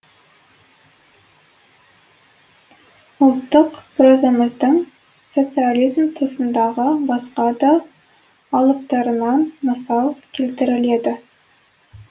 ұлттық прозамыздың социализм тұсындағы басқа да алыптарынан мысал келтіріледі